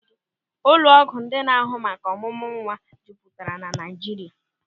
Ụlọ ọgwụ ndị na-ahụ maka ọmụmụ nwa juputara na Naịjirịa.